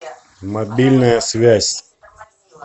мобильная связь